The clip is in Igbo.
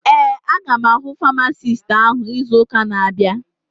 Ee, aga m ahụ famasisti áhụ̀ izu ụka na-abịa